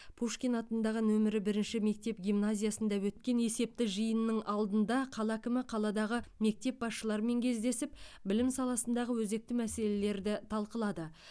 пушкин атындағы нөмірі бірінші мектеп гимназиясында өткен есепті жиынның алдында қала әкімі қаладағы мектеп басшыларымен кездесіп білім саласындағы өзекті мәселелерді талқылады